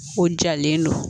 O jalen don